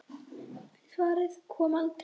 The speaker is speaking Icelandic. En svarið kom aldrei.